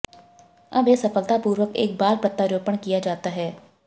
अब यह सफलतापूर्वक एक बाल प्रत्यारोपण किया जाता है